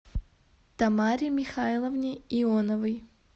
тамаре михайловне ионовой